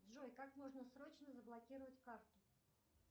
джой как можно срочно заблокировать карту